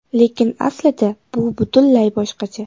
Lekin aslida bu butunlay boshqacha.